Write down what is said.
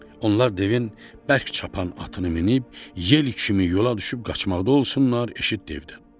Onlar devin bərk çapan atını minib, yel kimi yola düşüb qaçmaqda olsunlar, eşit devdən.